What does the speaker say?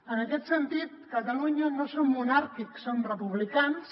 en aquest sentit a catalunya no som monàrquics som republicans